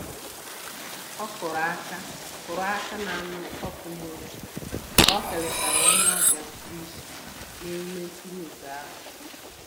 Ọ kụrụ aka kụrụ aka na-anụ ọkụ n'obi ka okelechara onye ọbịa pụrụ iche na emume nturu ugo ahụ